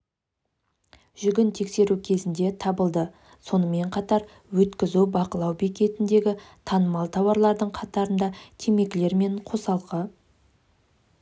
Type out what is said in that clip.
жүгін тексеру кезінде табылды сонымен қатар өткізу бақылау бекетіндегі танымал тауарлардың қатарында темекілер мен қосалқы